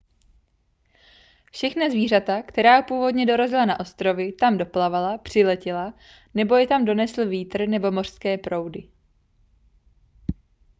všechna zvířata která původně dorazila na ostrovy tam doplavala přiletěla nebo je tam donesl vítr nebo mořské proudy